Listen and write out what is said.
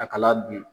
A kala dun